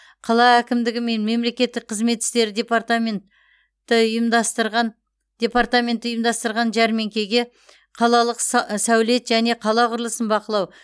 қала әкімдігі мен мемлекеттік қызмет істері департамен ті ұйымдастырған департаменті ұйымдастырған жәрмеңкеге қалалық са сәулет және қала құрылысын бақылау